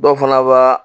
Dɔw fana ba